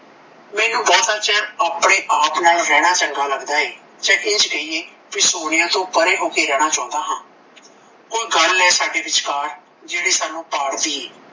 ਮੈਨੂੰ ਬਹੁਤ ਚਿਰ ਆਪਣੇ ਆਪ ਨਾਲ ਰਹਿਣਾ ਚੰਗਾ ਲੱਗਦਾ ਐ ਜਾਣ ਇੰਝ ਕਹੀਏ ਬੀ ਸੋਨੀਆ ਤੋਂ ਪਰੇ ਹੋ ਕੇ ਰਹਿਣ ਚਾਹੁੰਦਾ ਹਾਂ ਕੋਈ ਗੱਲ ਐ ਸਾਡੇ ਵਿਚਕਾਰ ਜੋ ਸਾਨੂੰ ਪਾੜਦੀ ਐ